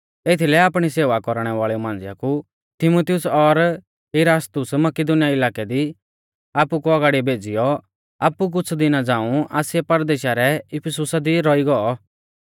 एथीलै आपणी सेवा कौरणै वाल़ेऊ मांझ़िया कु तीमुथियुस और इरास्तुस मकिदुनीया इलाकै दी आपु कु औगाड़िऐ भेज़ीयौ आपु कुछ़ दिना झ़ांऊ आसिया परदेशा रै इफिसुसा दी रौई गौ